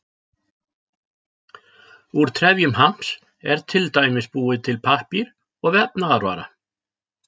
Úr trefjum hamps er til dæmis búinn til pappír og vefnaðarvara.